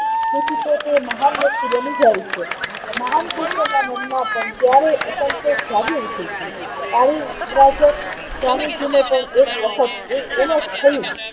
તેથી તો તે મહાન વ્યક્તિ બનીજાય છે મહાન વ્યક્તિના મનમાં પણ ક્યારેક અસંતોષ જાગી ઉઠે છે સ્વામીજીને પણ એ એક વખત એમજ થયું